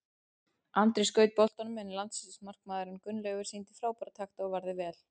Andri skaut boltanum en landsliðsmarkmaðurinn Gunnleifur sýndi frábæra takta og varði vel.